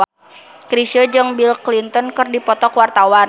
Chrisye jeung Bill Clinton keur dipoto ku wartawan